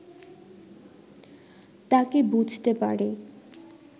তাকে বুঝতে পারে